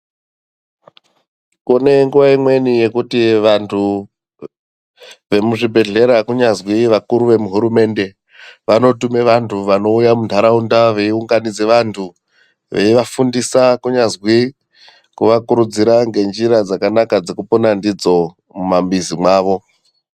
Kune nguva imweni yekuti vantu vemuzvibhedhlera kunyazwi vakuru vemuhurumende vanotume vantu vanouya muntaraunda veiunganidze vantu veivafundisa kunyazwi kuvarudzira ngenjira dzakanaka dzekupona ndidzo mumwamwizi mwavo.